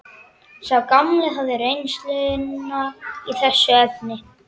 Sá gamli hafði reynsluna í þessum efnum.